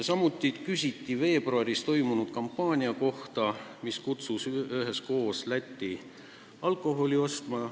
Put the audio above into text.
Samuti küsiti veebruaris toimunud kampaania kohta, milles kutsuti inimesi üles sõitma üheskoos Lätti alkoholi ostma.